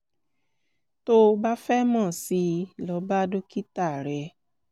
tó o bá fẹ́ mọ̀ síi lọ bá dókítà rẹ